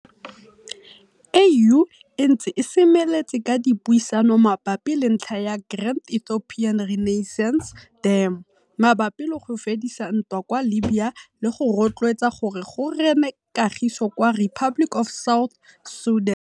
AU e ntse e semeletse ka dipuisano mabapi le ntlha ya Grand Ethiopian Renaissance Dam, mabapi le go fedisa ntwa kwa Libya le go rotloetsa gore go rene kagiso kwa Republic of South Sudan.